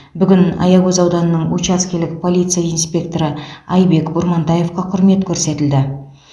бүгін аягөз ауданының учаскелік полиция инспекторы айбек бурмантаевқа құрмет көрсетілді